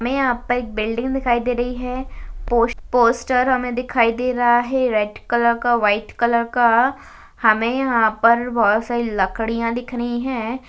हमे यहा पर एक बिल्डिंग दिखाई दे रही है। पोश पोस्टर हमें दिखाई दे रही है रेड कलर का व्हाइट कलर का हमें यह पर बहुत सारे लकड़िया दिख रही है।